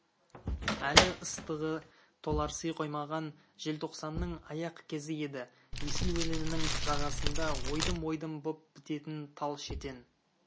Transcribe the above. әлі ыстығы толарси қоймаған желтоқсанның аяқ кезі еді есіл өзенінің жағасында ойдым-ойдым боп бітетін тал шетен